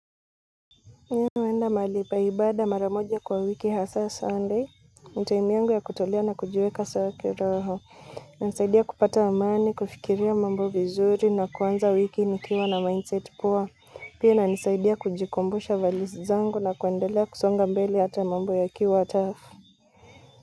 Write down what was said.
Mimi naenda mahali pa ibada maramoja kwa wiki hasa sunday, ni time yangu ya kujitolia na kujiweka sawa kiroho, hunisaidia kupata amani, kufikiria mambo vizuri na kuanza wiki nikiwa na mindset poa, pia inanisaidia kujikumbusha values zangu na kuendelea kusonga mbele hata mambo yakiwa tough.